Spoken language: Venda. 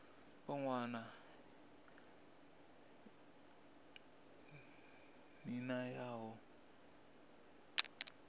u wana nḓila ya u